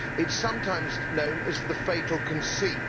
It is sometimes know as the fatal conceit.